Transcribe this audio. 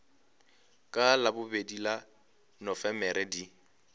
ka labobedi la nofemere di